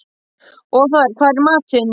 Othar, hvað er í matinn?